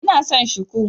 Ina son Shiku.